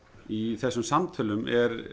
í þessum samtölum